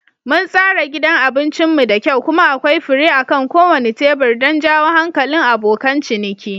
Mun tsara gidan abincin mu da kyau kuma akwai fure akan kowane tebur don jawo hankalin abokan ciniki.